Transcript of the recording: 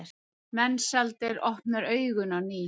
Mensalder opnar augun á ný.